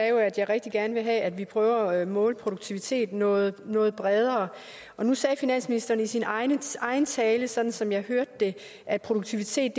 jo at jeg rigtig gerne vil have at vi prøver at måle produktivitet noget noget bredere nu sagde finansministeren i sin egen egen tale sådan som jeg hørte det at produktivitet